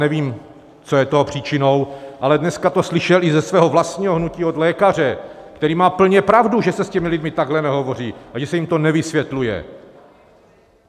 Nevím, co je toho příčinou, ale dneska to slyšel i ze svého vlastního hnutí od lékaře, který má plně pravdu, že se s těmi lidmi takhle nehovoří a že se jim to nevysvětluje.